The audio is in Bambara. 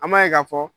An b'a ye k'a fɔ